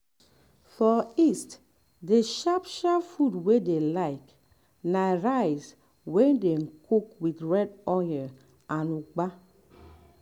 um for um east d sharp sharp food wey dey like na rice wey dey um cook with red oil and ugba